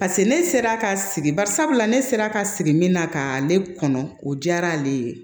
paseke ne sera ka sigi bari sabula ne sera ka sigi min na ka ale kɔnɔ o diyara ale ye